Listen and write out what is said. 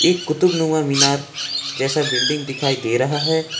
एक कुतुब नुमा मीनार जैसा बिल्डिंग दिखाई दे रहा है।